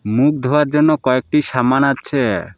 মুখ ধোয়ার জন্য কয়েকটি সামান আছে।